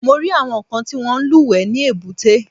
Mo rí àwọn kan tí wọ́n ń lúwẹ̀ẹ́ ní èbúté.